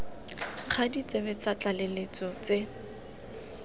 ga ditsebe tsa tlaleletso tse